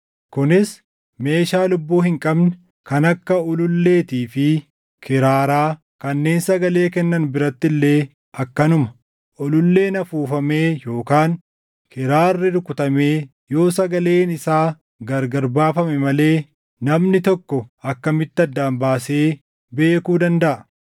Kunis meeshaa lubbuu hin qabne kan akka ululleetii fi kiraaraa kanneen sagalee kennan biratti illee akkanuma; ululleen afuufamee yookaan kiraarri rukutamee yoo sagaleen isaa gargar baafame malee namni tokko akkamitti addaan baasee beekuu dandaʼa?